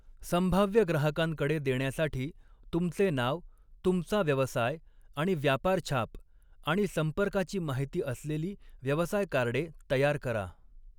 संभाव्य ग्राहकांकडे देण्यासाठी, तुमचे नाव, तुमचा व्यवसाय आणि व्यापारछाप, आणि संपर्काची माहिती असलेली व्यवसाय कार्डे तयार करा.